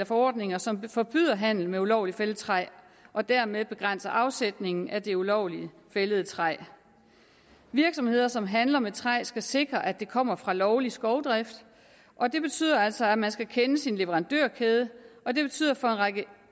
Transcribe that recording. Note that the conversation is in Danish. forordninger som forbyder handel med ulovligt fældet træ og dermed begrænser afsætningen af det ulovligt fældede træ virksomheder som handler med træ skal sikre at det kommer fra lovlig skovdrift og det betyder altså at man skal kende sin leverandørkæde og det betyder for en række